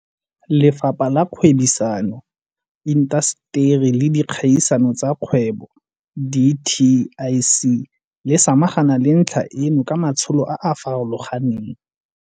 Lefapha la Kgwebisano, Intaseteri le Dikgaisano tsa Dikgwebo, dtic, le samagane le ntlha eno ka matsholo a a farologaneng.